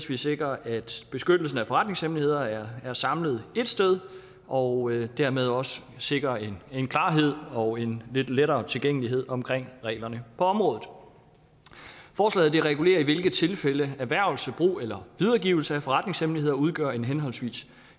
vi sikrer at beskyttelsen af forretningshemmeligheder er samlet ét sted og dermed også sikrer en klarhed og en lidt lettere tilgængelighed omkring reglerne på området forslaget regulerer i hvilke tilfælde erhvervelse brug eller videregivelse af forretningshemmeligheder udgør henholdsvis